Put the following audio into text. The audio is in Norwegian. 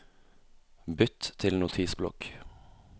Bytt til Notisblokk